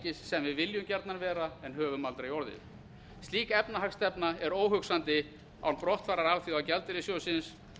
velferðarríkis sem við viljum gjarnan vera en höfum aldrei orðið slík efnahagsstefna er óhugsandi án brottfarar alþjóðagjaldeyrissjóðsins